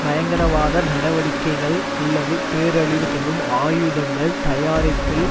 பயங்கரவாத நடவடிக்கைகள் அல்லது பேரழிவு தரும் ஆயுதங்கள் தயாரிப்பில்